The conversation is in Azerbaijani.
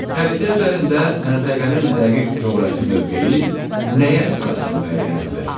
Xəritə üzərində məntəqənin dəqiq coğrafi mövqeyi nəyə əsasən müəyyən edilir?